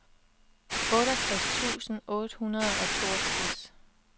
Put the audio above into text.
otteogtres tusind otte hundrede og toogtres